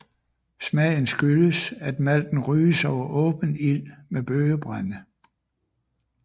Smagen skyldes at malten ryges over åben ild med bøgebrænde